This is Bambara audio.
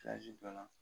don na